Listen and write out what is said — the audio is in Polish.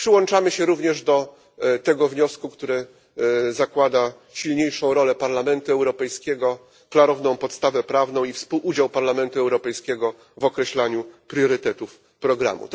Przyłączamy się również do tego wniosku, który zakłada silniejszą rolę Parlamentu Europejskiego, klarowną podstawę prawną i współudział Parlamentu Europejskiego w określaniu priorytetów programu.